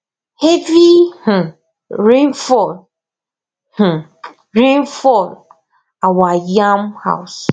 heavy um rain fall um rain fall our yam house